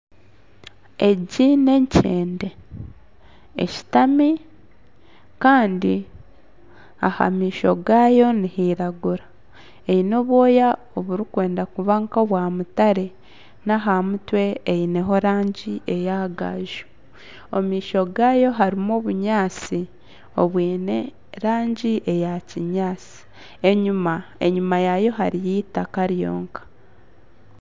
Egi ni enkyende eshutami kandi aha maisho gaayo nihiragura eine obwoya oburikwenda kuba nkobwa mutare aha mutwe eineho erangi eya gaaju . Omu maisho gaayo harimu obunyaatsi obwine erangi eya kinyaatsi enyima yaayo hariyo eitaka ryonka.